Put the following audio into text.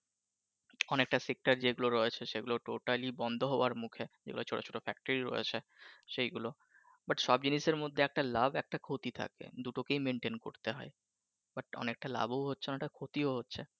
অনেকটা sector যেগুলো রয়েছে সেগুলো totally বন্ধ হওয়ার মুখে যেগুলো ছোট ছোট ফ্যাক্টরি রয়েছে সেই গুলো but সব জিনিসের মধ্যে একটা লাভ একটা ক্ষতি থাকে দুটোকে maintain করতে হয় but অনেকটা লাভ ও হচ্ছে অনেকটা ক্ষতিও হচ্ছে